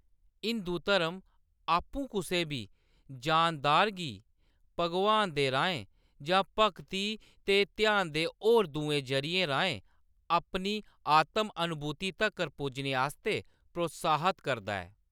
हिंदू धर्म आपूं कुसै बी जानदार गी भगवान दे राहें जां भगती ते ध्यान दे होर दुए जरिये राहें अपनी आतम-अनुभूति तक्कर पुज्जने आस्तै प्रोत्साहत करदा ऐ।